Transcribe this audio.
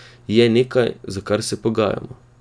Je nekaj, za kar se pogajamo.